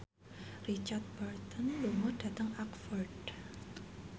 Richard Burton lunga dhateng Oxford